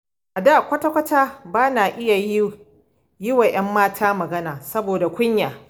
A da kwata-kwata bana iya yiwa 'yan mata magana, saboda kunya.